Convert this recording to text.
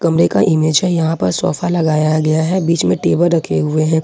कमरे का इमेज है यहां पर सोफा लगाया गया है बीच में टेबल रखे हुए हैं।